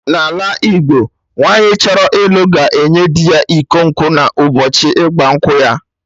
N'ala Igbo, nwaanyi achọrọ ịlụ ga-enye dị ya iko nkwụ na ụbọchị ịgba nkwụ ya